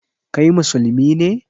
Kai musulmi ne?